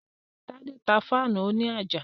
Tádé tá fáànù òní àjà